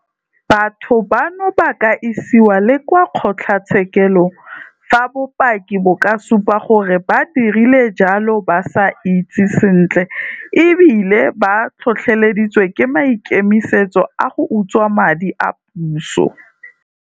Batho bano ba ka isiwa le kwa kgotlatshekelo fa bopaki bo ka supa gore ba dirile jalo ba itsi sentle e bile ba tlhotlheleditswe ke maikemisetso a go utswa madi a puso.